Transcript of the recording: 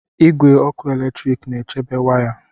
Igwe ọkụ eletrik na-echebe wires.